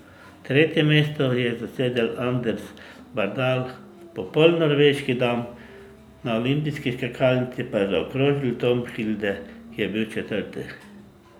Tretje mesto je zasedel Anders Bardal, popoln norveški dan na olimpijski skakalnici pa je zaokrožil Tom Hilde, ki je bil četrti.